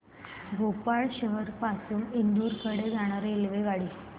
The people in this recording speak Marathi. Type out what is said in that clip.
भोपाळ शहर पासून इंदूर कडे जाणारी रेल्वेगाडी